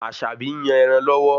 Aṣabi ń yàn ẹran lọ́wọ́